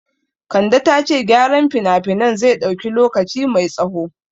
Kande ta ce gyaran finafinan zai dauki lokaci mai tsaho